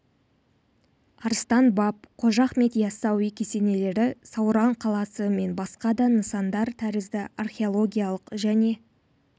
арыстан баб қожа ахмет яссауи кесенелері сауран қаласы мен басқа да нысандар тәрізді археологиялық және